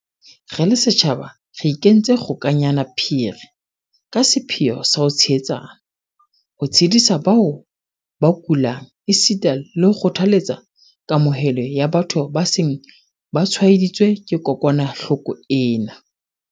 Re le setjhaba re ikentse kgokanyana phiri ka sepheo sa ho tshehetsana, ho tshedisa bao ba kulang esita le ho kgothaletsa kamohelo ya batho ba seng ba tshwaeditswe ke kokwanahloko ena.